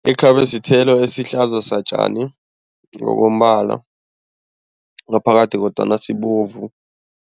Ikhabe sithelo esihlaza satjani ngokombala ngaphakathi kodwana sibovu.